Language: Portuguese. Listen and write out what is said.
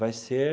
Vai ser...